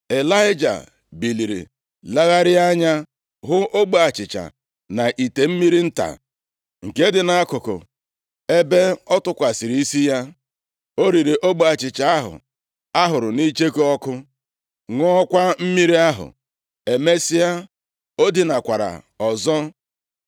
Ịlaịja biliri legharịa anya, hụ ogbe achịcha na ite mmiri nta nke dị nʼakụkụ ebe ọ tụkwasịrị isi ya. O riri ogbe achịcha ahụ a hụrụ nʼicheku ọkụ, ṅụọkwa mmiri ahụ. Emesịa, o dinakwara ọzọ.